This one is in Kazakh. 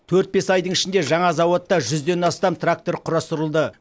төрт бес айдың ішінде жаңа зауытта жүзден астам трактор құрастырылды